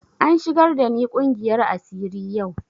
An shigar da ni ƙungiyar asiri yau